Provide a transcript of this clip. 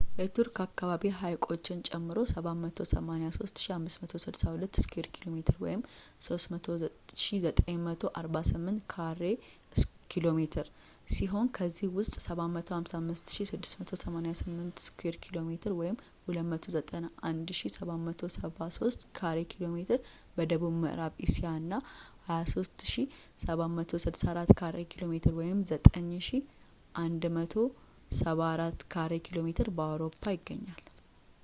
የቱርክ አካባቢ ሐይቆችን ጨምሮ 783,562 ስኩዌር ኪ.ሜ. 300,948 ካሬ ኪ.ሜ. ሲሆን ከዚህ ውስጥ 755,688 ስኩዌር ኪ.ሜ 291,773 ካሬ ኪ.ሜ በደቡብ ምዕራብ እስያ እና 23,764 ካሬ ኪ.ሜ 9,174 ካሬ ኪ.ሜ በአውሮፓ ይገኛሉ